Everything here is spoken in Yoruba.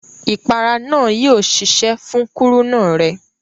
Ìpara náà yio sẹsẹ́ fún kúrúnà rẹ